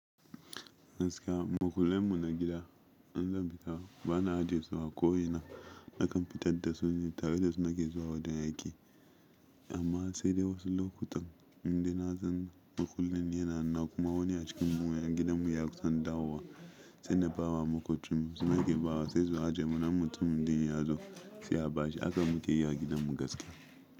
Gaskiya, makulen mu na gida in zan fita ba na aje su a ko ina. Naka fitadda su ni tareda su nake zuwa wajen aiki, amma sai dai wasu lokutan indai nasan makullin ni yana hanuna kuma wani acikin mu ƴan gidanmu ya kusan dawowa se na ba wa maƙocinmu su ma ke ba wa sai su aje muna in mutumin din ya zo se a bashi. Haka mu ke yi a gidan mu gaskiya.